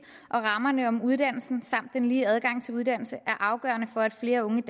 og rammerne om uddannelsen samt den lige adgang til uddannelse er afgørende for at flere unge